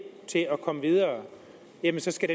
til at komme videre jamen så skal